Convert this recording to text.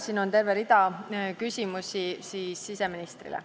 Siin on veel terve rida küsimusi siseministrile.